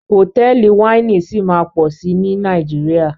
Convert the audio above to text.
Hotẹẹli Wáìnì sí má pọ sí ní Nàìjíríà.